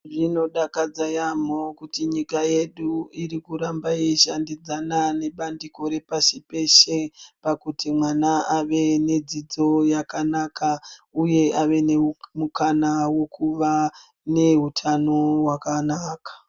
Zvinodakadza yaamho kuti nyika yedu iri kuramba yeishandidzana nebandiko repashi peshe. Pakuti mwana ave nedzidzo yakanaka, uye ave nemukana vekuva nehutano hwakanaka.